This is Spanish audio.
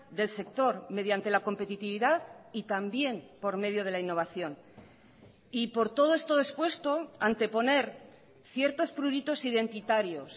del sector mediante la competitividad y también por medio de la innovación y por todo esto expuesto anteponer ciertos pruritos identitarios